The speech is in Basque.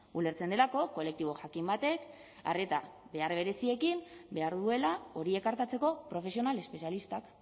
ulertzen delako kolektibo jakin batek arreta behar bereziekin behar duela horiek artatzeko profesional espezialistak